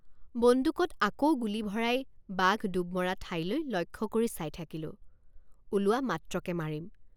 বন্দুকত আকৌ গুলী ভৰাই বাঘ ডুব মৰা ঠাইলৈ লক্ষ্য কৰি চাই থাকিলোঁ ওলোৱা মাত্ৰকে মাৰিম।